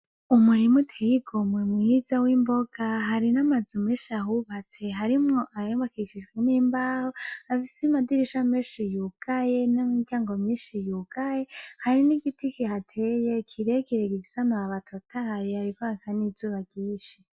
Umurima uteye igomwe mwiza w'imboga, hari n'amazu menshi ahubatse harimwo ayubakishijwe n'imbaho afise amadirisha menshi yugaye n'imiryango myinshi yugaye, hari n'igiti kihateye kirekire gifise amababi atotahaye, hariko haka n'izuba ryinshi.